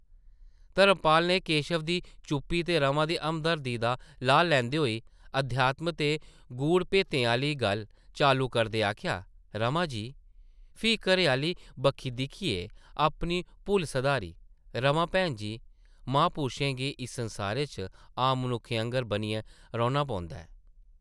धर्मपाल नै केशव दी चुप्पी ते रमा दी हमदर्दी दा लाह् लैंदे होई अध्यात्म दे गूढ़ भेतें आह्ली गल्ल चालू करदे आखेआ, ‘‘रमा जी ...’’फ्ही घरै-आह्ली बक्खी दिक्खियै अपनी भुल्ल सधारी , रमा भैन जी, महापुरशें गी इस संसारै च आम मनुक्खें आंगर बनियै रौह्ना पौंदा ऐ ।